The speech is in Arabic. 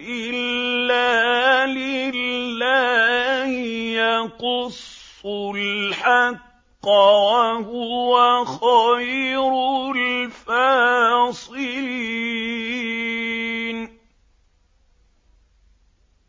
إِلَّا لِلَّهِ ۖ يَقُصُّ الْحَقَّ ۖ وَهُوَ خَيْرُ الْفَاصِلِينَ